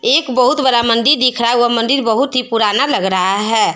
एक बहुत बड़ा मंदिर दिख रहा है वह मंदिर बहुत ही पुराना लग रहा है।